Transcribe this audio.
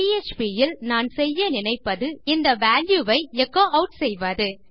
PHP இல் நான் செய்ய நினைப்பது இந்த வால்யூ ஐ எச்சோ ஆட் செய்வது